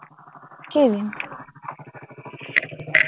কি দিম?